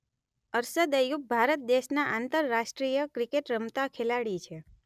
અરશદ અય્યુબ ભારત દેશના આંતરરાષ્ટ્રીય ક્રિકેટ રમતા ખેલાડી છે